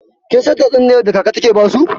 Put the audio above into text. Kin san tatsuniyar da kaka take basu?